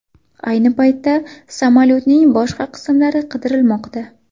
Ayni paytda samolyotning boshqa qismlari qidirilmoqda.